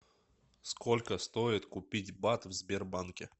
сколько стоит купить бат в сбербанке